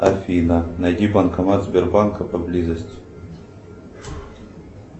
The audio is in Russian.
афина найди банкомат сбербанка поблизости